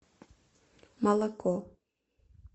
молоко